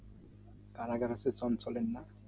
কারাগারের তো টমসলের না